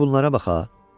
Bir bunlara baxa.